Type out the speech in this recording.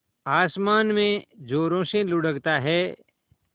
आसमान में ज़ोरों से लुढ़कता है